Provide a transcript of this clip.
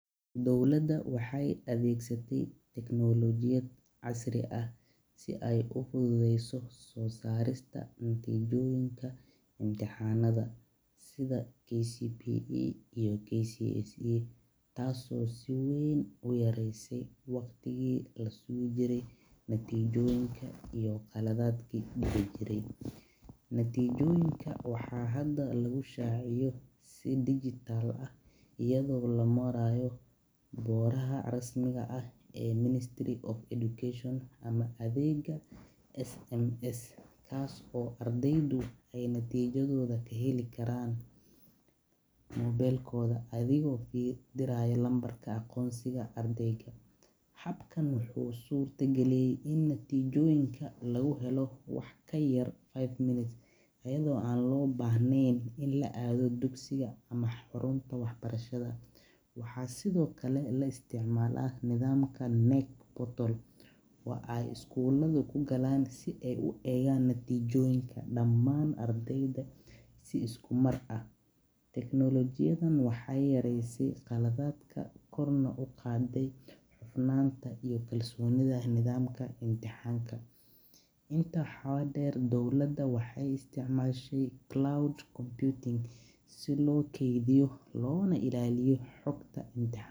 Dowlaada waxee adegsate tecnolojiyaad casri ah si ee uso sarto natijoyinka intixanaada sitha KCBE iyo KCSE tas oo aad u yarese waqtiyaadi lasugi jire iyo qalaadadki kujire iyaga oo lamaraya ministry of education ama SMS kas oo natijaadoda ee ka heli karan athiga oo diraya nambarka aqonsiga habkan wuxuu surta galiye habka lagu helo wax kayar five minute waxaa sithokale laisticmala nidhamka neck bottle daman ardeyda mar ah, intaa waxaa der dowlaasa waxee isticmashe si lo kedhiyo.